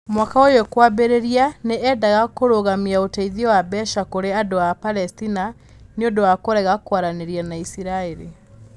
Mwaka ũyũ kwambĩrĩria, nĩ eendaga kũrũgamia ũteithio wa mbeca kũrĩ andũ a Palesitina nĩ ũndũ wa kũrega kwaranĩria na Isiraeli.